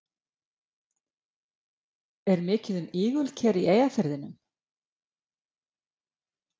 Karl Eskil Pálsson: Er mikið um ígulker í Eyjafirðinum?